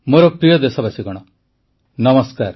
ମୋର ପ୍ରିୟ ଦେଶବାସୀଗଣ ନମସ୍କାର